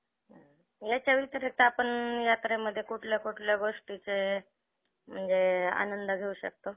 पूर्ण financial work त्यांचं आर्थिक त्यांचं income depend आहे. जर लोकांनी त्यांच्या company चे shares घेतले, किंवा त्यांचं profit झालं त्या गोष्टीमध्ये त्यांचे वाढले, income वाढलं